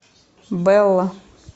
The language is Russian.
белла